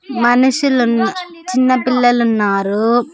మనుషులు ఉన్న-- చిన్న పిల్లలు ఉన్నారు.